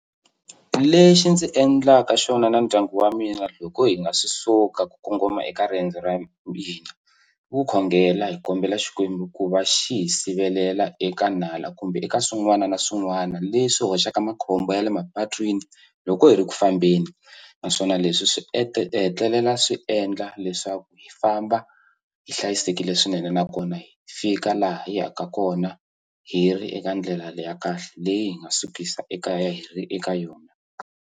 Lexi ndzi endlaka xona na ndyangu wa mina loko hi nga si suka ku kongoma eka riendzo ra mina ku khongela hi kombela Xikwembu ku va xi hi sivelela eka nala kumbe eka swin'wana na swin'wana leswi hoxaka makhombo ya le mapatwini loko hi ri ku fambeni naswona leswi swi hetelela swi endla leswaku hi famba hi hlayisekile swinene nakona hi fika laha yi yaka kona hi ri eka ndlela ya kahle leyi hi nga sukisa ekaya hi ri eka yona.